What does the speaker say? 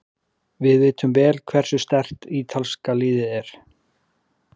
Við vitum vel hversu sterkt ítalska liðið er.